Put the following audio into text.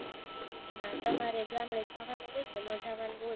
તમારે ગામડે જાવાનું હોય કે નો જાવાનું હોય?